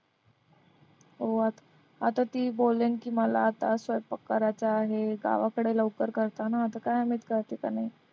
हो आता ती बोलेन की मला आता स्वयंपाक करायचा आहे गावाकडे लवकर करता ना आता काय माहित